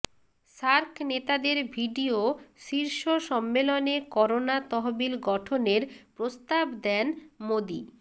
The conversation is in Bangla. সার্ক নেতাদের ভিডিও শীর্ষ সম্মেলনে করোনা তহবিল গঠনের প্রস্তাব দেন মোদি